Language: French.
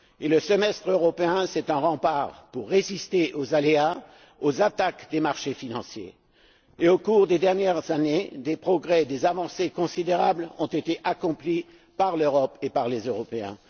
Le semestre européen, c'est un rempart pour résister aux aléas, aux attaques des marchés financiers. Au cours des dernières années, des avancées considérables ont été accomplies par l'Europe et les Européens.